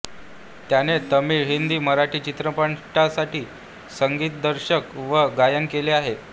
त्याने तमिळ हिंदी मराठी चित्रपटांसाठी संगीतदिग्दर्शन व गायन केले आहे